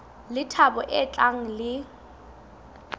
le thabo e tlang le